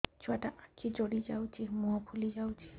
ଛୁଆଟା ଆଖି ଜଡ଼ି ଯାଉଛି ମୁହଁ ଫୁଲି ଯାଉଛି